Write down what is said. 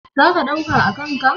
Za ka ɗauka a kan ka?